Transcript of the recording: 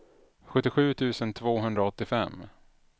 sjuttiosju tusen tvåhundraåttiofem